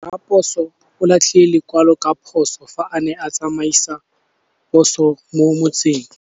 Raposo o latlhie lekwalô ka phosô fa a ne a tsamaisa poso mo motseng.